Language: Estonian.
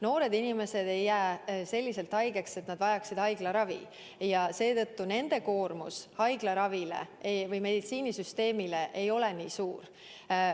Noored inimesed ei jää selliselt haigeks, et nad vajaksid haiglaravi, ja seetõttu koormus haiglaravile või meditsiinisüsteemile ei ole nii suur.